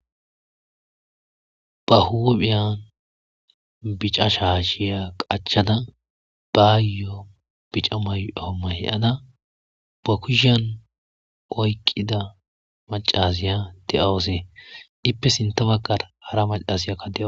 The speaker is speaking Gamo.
Ba huphphya bicca shashiy qachada bayo bicca mayi'o mayi'ada ba kushiya oyiqqida maccasiya de'awuse ippe sintta baggara hara maccasiyakka de'awus.